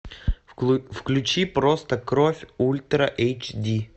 включи просто кровь ультра эйч ди